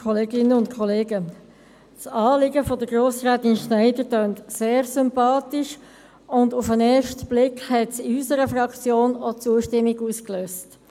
Das Anliegen von Grossrätin Schneider tönt sehr sympathisch, und auf den ersten Blick hat es in unserer Fraktion auch Zustimmung ausgelöst.